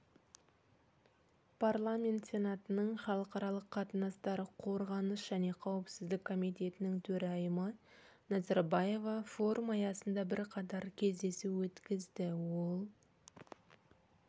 парламент сенатының халықаралық қатынастар қорғаныс және қауіпсіздік комитетінің төрайымы назарбаева форум аясында бірқатар кездесу өткізді ол